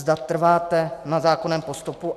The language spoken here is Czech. Zda trváte na zákonném postupu.